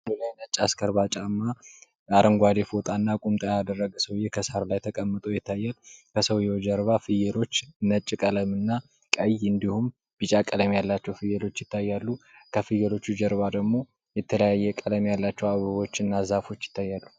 እግሩ ላይ ነጭ አስካርባ ጫማ እና አረንጓዴ ፎጣ እና ቁምጣ ያደረገ ሰዉየ ከሳር ላይ ተቀምጦ ይታያል። ከሰዉየዉ ጀርባ ደግሞ ፍየሎች ነጭ ቀለም እና ቀይ እንዲሁም ቢጫ ቀለም ያላቸዉ ፍየሎች ይታያሉ።